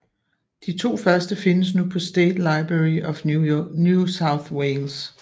De to første findes nu på State Library of New South Wales